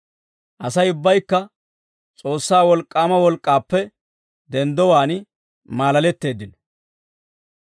Asay ubbaykka S'oossaa wolk'k'aama wolk'k'aappe denddowaan maalaletteeddino.